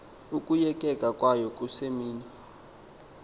ukoyikeka kwayo kusemini